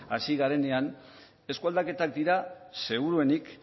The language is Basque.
hasi garenean eskualdaketak dira seguruenik